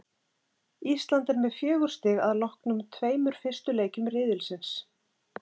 Ísland er með fjögur stig að loknum tveimur fyrstu leikjum riðilsins.